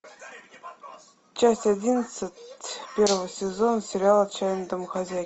часть одиннадцать первого сезона сериала отчаянные домохозяйки